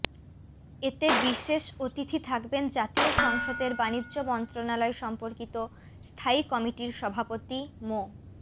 এতে বিশেষ অতিথি থাকবেন জাতীয় সংসদের বাণিজ্য মন্ত্রণালয় সম্পর্কিত স্থায়ী কমিটির সভাপতি মো